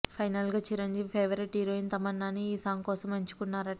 final గా Chiranjeevi favourite heroine తమన్నాని ఈ సాంగ్ కోసం ఎంచుకున్నారట